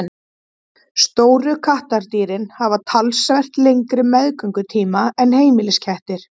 stóru kattardýrin hafa talsvert lengri meðgöngutíma en heimiliskettir